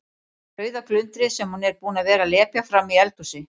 Rauða glundrið sem hún er búin að vera að lepja frammi í eldhúsi.